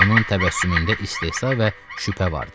Onun təbəssümündə istehza və şübhə vardı.